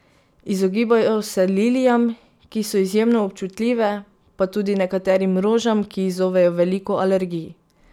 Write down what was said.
Izogibajo se lilijam, ki so izjemno občutljive, pa tudi nekaterim rožam, ki izzovejo veliko alergij.